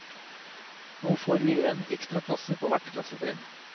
Nå får vi en ekstra klasse på hvert klassetrinn.